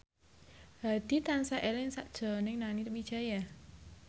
Hadi tansah eling sakjroning Nani Wijaya